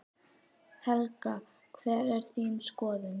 Helga: Hver er þín skoðun?